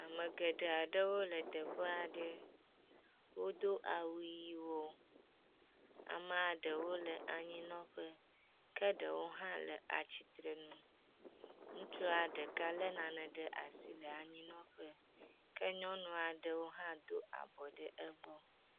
Ame geɖe aɖewo le teƒe aɖe, wodo awu ʋɛ̃wo, amea ɖewo le anyinɔƒe, ke ɖewo hã le atsitrenu, ŋutsua ɖeka lé nane ɖe asi le anyinɔƒe ke nyɔnua ɖewo hã do abɔ ɖe egbɔ.